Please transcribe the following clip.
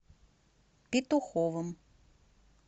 петуховым